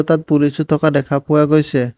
তাত পুলিচো থকা দেখা পোৱা গৈছে।